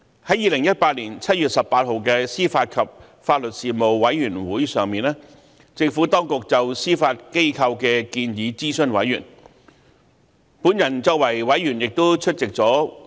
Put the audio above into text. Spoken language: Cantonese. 在2018年7月18日的司法及法律事務委員會上，政府當局就司法機構的建議諮詢委員。